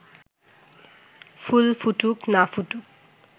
ফুল ফুটুক না ফুটুক